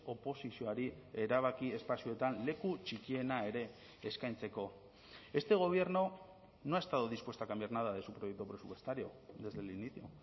oposizioari erabaki espazioetan leku txikiena ere eskaintzeko este gobierno no ha estado dispuesto a cambiar nada de su proyecto presupuestario desde el inicio